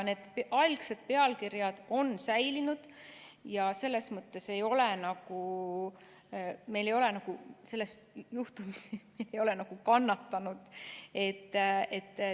Need algsed pealkirjad on säilinud ja selles mõttes ei ole me nagu selles juhtumis kannatanud.